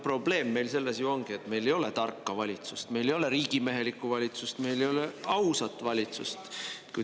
Probleem meil selles ju ongi, et meil ei ole tarka valitsust, meil ei ole riigimehelikku valitsust, meil ei ole ausat valitsust.